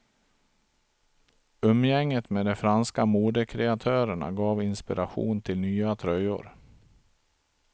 Umgänget med de franska modekreatörerna gav inspiration till nya tröjor.